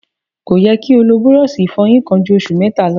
Kò yẹ kí́ o lò búrọ́ọlṣì ìfọyín kan ju oṣù mẹ́ta lọ.